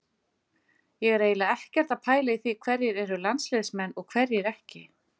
Ég er eiginlega ekkert að pæla í því hverjir eru landsliðsmenn og hverjir ekki.